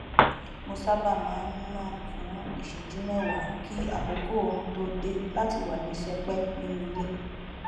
mo sábà má n nà fún ìṣẹjú mẹwàá kí àkókò oorun tó dé láti wà ní sẹpẹ nínú ilé